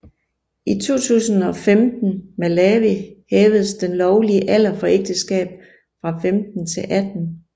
I 2015 Malawi hævedes den lovlige alder for ægteskab fra 15 til 18